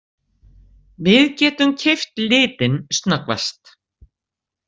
Við getum keypt litinn snöggvast!